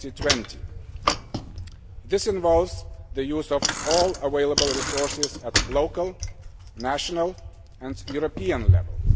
2020. This involves the use of all available resources at local, national and European level.